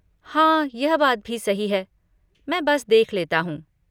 हाँ, यह बात भी सही है, मैं बस देख लेता हूँ।